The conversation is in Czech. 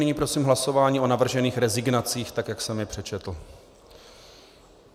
Nyní prosím hlasování o navržených rezignacích, tak jak jsem je přečetl.